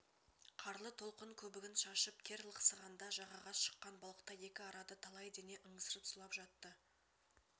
қарлы толқын көбігін шашып кер лықсығанда жағаға шыққан балықтай екі арада талай дене ыңырсып сұлап жатты